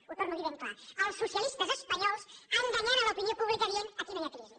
ho torno a dir ben clar els socialistes espanyols enganyant l’opinió pública dient aquí no hi ha crisi